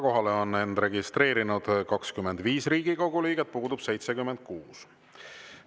Kohalolijaks on end registreerinud 25 Riigikogu liiget, puudub 76.